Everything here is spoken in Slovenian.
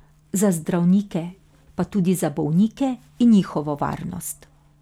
Za zdravnike pa tudi za bolnike in njihovo varnost.